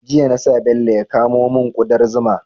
Jiya na sa Bello ya kamo mun kudar zuma